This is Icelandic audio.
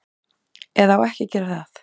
Eða á ekki að gera það.